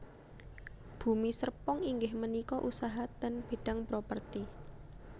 Bumi Serpong inggih menika usaha ten bidang properti